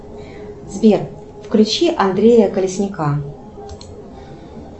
сбер включи андрея колесника